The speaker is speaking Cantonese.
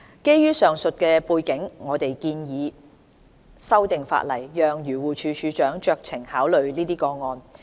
基於上述背景，我們建議修訂法例，讓漁護署署長酌情考慮這些個案。